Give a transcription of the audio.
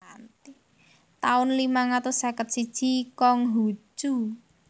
taun limang atus seket siji Kong Hu Cu